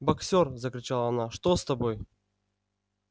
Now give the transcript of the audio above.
боксёр закричала она что с тобой